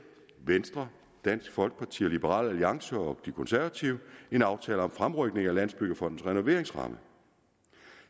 venstre dansk folkeparti liberal alliance og de konservative en aftale om fremrykning af landsbyggefondens renoveringsramme